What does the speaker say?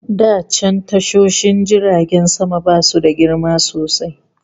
Da can tashoshin jiragen sama basu da girma sosai